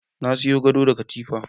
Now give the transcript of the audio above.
Na sayo gado da katifa.